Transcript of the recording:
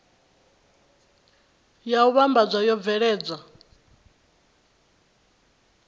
ya u vhambadza yo bveledzwa